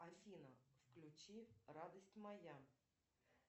афина включи радость моя